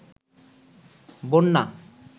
বন্যা